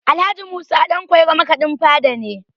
Alh. Musa Ɗanƙwairo makaɗin fada ne